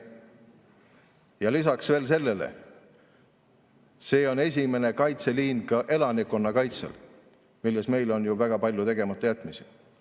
Ja lisaks veel sellele: see on esimene kaitseliin ka elanikkonna kaitsel, milles meil on väga palju tegematajätmisi.